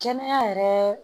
Kɛnɛya yɛrɛ